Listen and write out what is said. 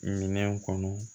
Minɛn kɔnɔ